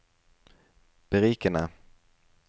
berikende